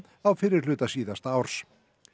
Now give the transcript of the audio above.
á fyrri hluta síðasta árs